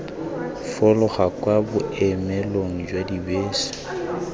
fologa kwa boemelong jwa dibese